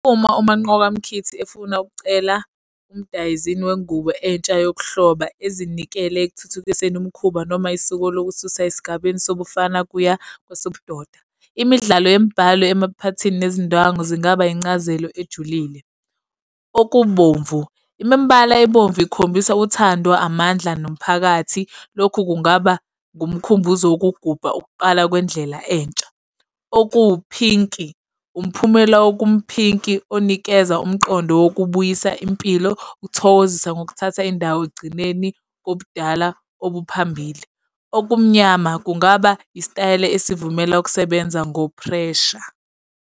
Uma uManqoba Mkhithi efuna ukucela umdayizini wengubo entsha yokuhloba ezinikele ekuthuthukiseni umkhuba noma isiko lokususa esigabeni sobufana kuya kwesobudoda. Imidlalo yemibhalo emaphathini nezindwangu zingaba incazelo ejulile. Okubomvu, imibala ebomvu ikhombisa uthando, amandla nomphakathi. Lokhu kungaba ngumkhumbuzo wokugubha ukuqala kwendlela entsha, okuwuphinki, umphumela okumphinki onikeza umqondo wokubuyisa impilo, uthokozisa ngokuthatha indawo ekugcineni kobudala obuphambili. Okumnyama kungaba isitayela esivumela ukusebenza ngo-pressure.